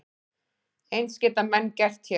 Eins geta menn gert hér.